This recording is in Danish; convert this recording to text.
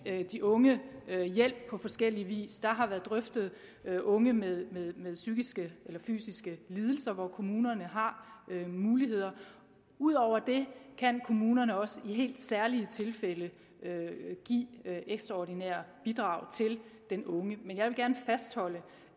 de unge hjælp på forskellig vis der har været drøftet unge med psykiske eller fysiske lidelser hvor kommunerne har muligheder og ud over det kan kommunerne også i helt særlige tilfælde give ekstraordinære bidrag til den unge men jeg vil gerne fastholde